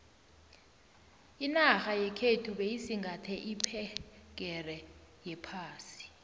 inarha yekhethu beyisingathe iphegere yephasi